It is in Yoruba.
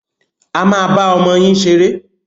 A máa bá ọmọ yín ṣeré.